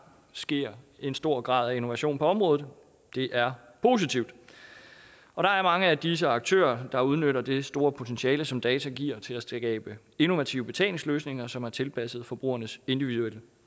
sker en stor grad af innovation på området det er positivt og der er mange af disse aktører der udnytter det store potentiale som data giver til at skabe innovative betalingsløsninger som er tilpasset forbrugernes individuelle